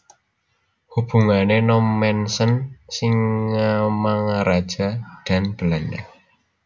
Hubungan Nommensen Singamangaraja dan Belanda